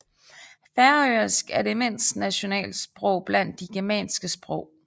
Færøsk er det mindste nationalsprog blandt de germanske sprog